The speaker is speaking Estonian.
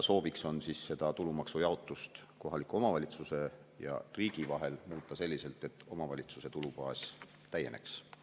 Sooviks on tulumaksu jaotamist kohaliku omavalitsuse ja riigi vahel muuta selliselt, et omavalitsuse tulubaas täieneks.